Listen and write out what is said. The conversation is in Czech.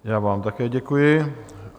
Já vám také děkuji.